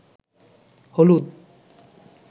হলুদ